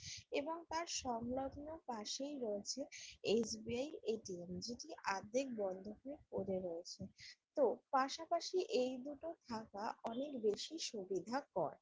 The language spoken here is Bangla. এবং তার সংলগ্ন পাশেই রয়েছে এস.বি.আই এ.টি.এম. যেটি অর্ধেক বন্ধ হয়ে পরে রয়েছে তো পাশাপাশি এই দুটো থাকা অনেকবেশী সুবিধাকর।